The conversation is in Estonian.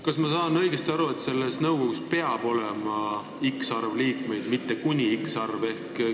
Kas ma saan õigesti aru, et selles nõukogus peab olema x arv liikmeid, mitte kuni x arv liikmeid?